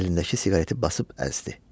O əlindəki siqareti basıb əzdi.